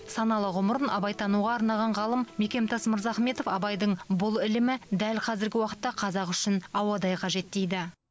саналы ғұмырын абайтануға арнаған ғалым мекемтас мырзахметов абайдың бұл ілімі дәл қазіргі уақытта қазақ үшін ауадай қажет дейді